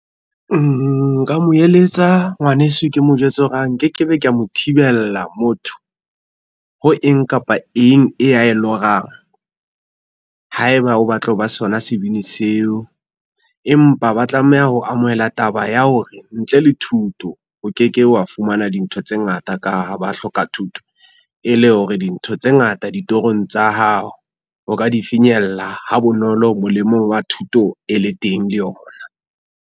Nka mo eletsa ngwaneso ke mo jwetse hore ha nke ke be ka mo thibella motho, ho eng kapa eng e ya e lorang. Haeba o batla ho ba sona sebini seo, empa ba tlameha ho amohela taba ya hore ntle le thuto o ke ke wa fumana dintho tse ngata ka ha ba hloka thuto, e le hore dintho tse ngata ditorong tsa hao o ka di finyella ha bonolo molemong wa thuto e le teng le yona.